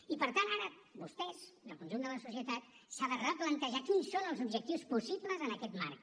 i per tant ara vostès i el conjunt de la societat s’han de replantejar quins són els objectius possibles en aquest marc